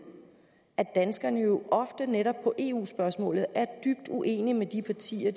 at danskerne jo ofte netop i eu spørgsmål er dybt uenige med de partier